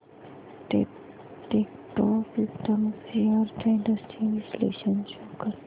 Techpro systems shares trends चे विश्लेषण show कर